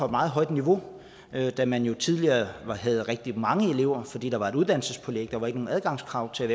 meget højt niveau da man jo tidligere havde rigtig mange elever fordi der var et uddannelsespålæg og ikke nogen adgangskrav til